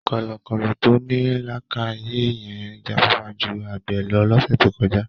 Kọ̀lọ̀kọ̀lọ̀ tó ní làákààyè yẹn jáfáfá ju àgbẹ̀ lọ lọ́sẹ̀ tó kọjá.